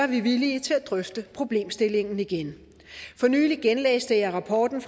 vi villige til at drøfte problemstillingen igen for nylig genlæste jeg rapporten